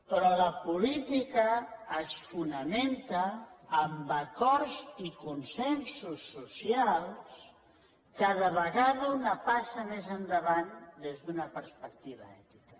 però la política es fonamenta en acords i consensos socials cada vegada una passa més endavant des d’una perspectiva ètica